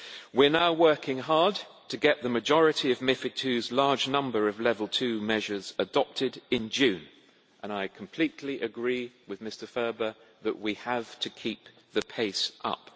We are now working hard to get the majority of MiFID II's large number of level 2 measures adopted in June, and I completely agree with Mr Ferber that we have to keep the pace up.